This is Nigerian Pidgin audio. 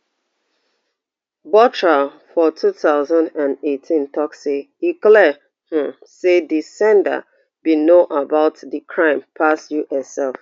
bothra for two thousand and eighteen tok say e clear um say di sender bin know about di crime pass us sef